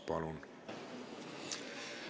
Palun!